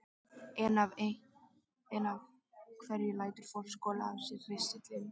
En af hverju lætur fólk skola á sér ristilinn?